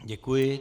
Děkuji.